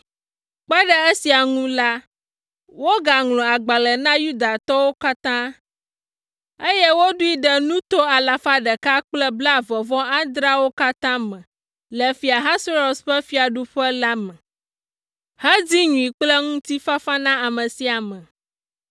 Kpe ɖe esia ŋu la, wogaŋlɔ agbalẽ na Yudatɔwo katã, eye woɖoe ɖe nuto alafa ɖeka kple blaeve-vɔ-adreawo (127) katã me le Fia Ahasuerus ƒe fiaɖuƒe la me, hedi nyui kple ŋutifafa na ame sia ame.